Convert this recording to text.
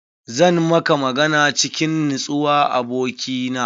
Zan maka magana cikin nutsuwa abokina.